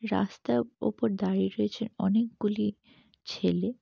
রাস্তার উপর দাঁড়িয়ে রয়েছে অনেকগুলি ছেলে।